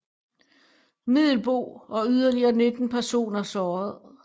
Middelboe og yderligere 19 personer såret